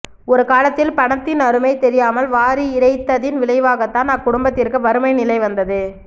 ஒரு காலத்தில் பணத்தின் அருமை தெரியாமல் வாரி இறைத்ததின் விளைவாகத்தான் அக்குடும்பத்திற்கு வறுமை நிலை வந்தது